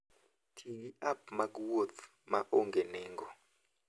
Ti gi app mag wuoth ma onge nengo.